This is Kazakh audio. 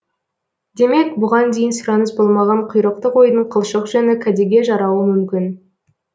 демек бұған дейін сұраныс болмаған құйрықты қойдың қылшық жүні кәдеге жарауы мүмкін